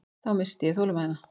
Þá missti ég þolinmæðina.